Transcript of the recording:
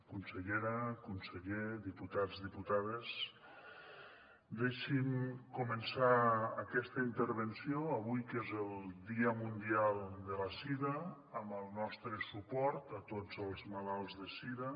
consellera conseller diputats diputades deixin me començar aquesta intervenció avui que és el dia mundial de la sida amb el nostre suport a tots els malalts de sida